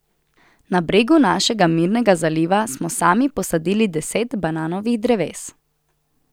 Na bregu našega mirnega zaliva smo sami posadili deset bananovih dreves.